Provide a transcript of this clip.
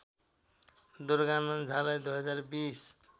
दुर्गानन्द झालाई २०२०